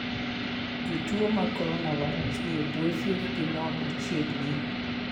Jotuo mag Coronavirus ni e bwo thieth gi non machiegni .